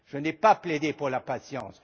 Je n'ai pas plaidé pour la patience.